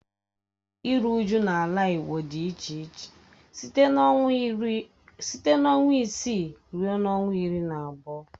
Oge iru uju n'ala igbo di iche iche site na ọnwa isii rue ọnwa iri na abụọ.